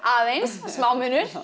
aðeins smá munur